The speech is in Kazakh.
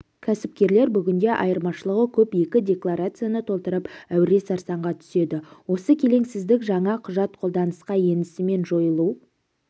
кәсіпкерлер бүгінде айырмашылығы көп екі декларацияны толтырып әуре-сарсаңға түседі осы келеңсіздік жаңа құжат қолданысқа енісімен жойылуы